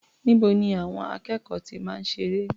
Níbo ni àwọn akẹ́kọ̀ọ́ ti máa ń ṣeré?